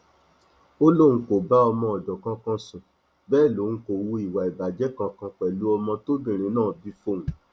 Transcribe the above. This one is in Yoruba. ó lóun kò bá ọmọọdọ kankan sùn bẹẹ lòun kò hu ìwà ìbàjẹ kankan pẹlú ọmọ tóbìnrin náà bí fóun